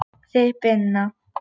Þið Binna?